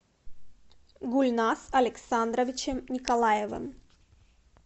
гульназ александровичем николаевым